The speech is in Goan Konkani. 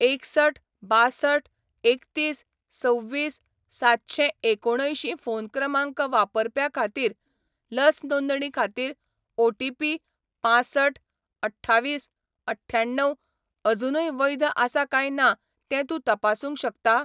एकसठ बांसठ एकतीस सव्वीस सातशें एकुणअंयशीं फोन क्रमांक वापरप्या खातीर लस नोंदणी खातीर ओ टी पी पांसठ अठ्ठावीस अठ्याण्णव अजूनय वैध आसा काय ना तें तूं तपासूंक शकता?